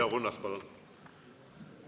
Leo Kunnas, palun!